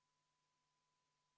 Palun võtta seisukoht ja hääletada!